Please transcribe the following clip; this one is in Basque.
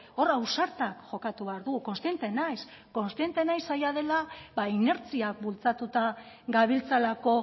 hor ausarta jokatu behar du kontziente naiz kontziente naiz zaila dela ba inertziak bultzatuta gabiltzalako